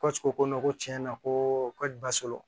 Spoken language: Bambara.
ko ko ko tiɲɛ na ko ka ba solo